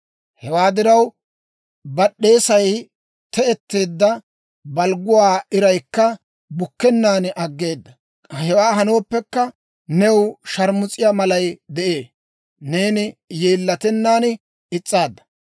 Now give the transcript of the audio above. Hewaa diraw, bad'd'eesay te"etteedda; balgguwaa iraykka bukkennaan aggeeda. Hewaa hanooppekka, new sharmus'iyaa malay de'ee; neeni yeellatennaan is's'aadda.